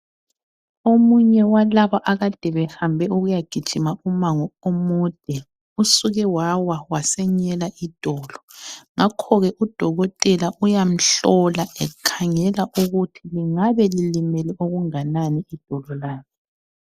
Omunye walaba akade behambe ukuyagijima umango omude usuke wawa wasenyela idolo. Ngakhoke udokotela uyamhlola ekhangela ukuthi lingabe lilimele okunganani idolo lakhe.